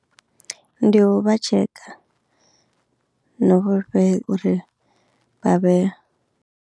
Ndi u vha tsheka, no vhu fhe uri vha vhe.